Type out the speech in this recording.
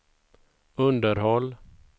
underhåll